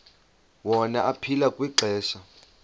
wona aphila kwixesha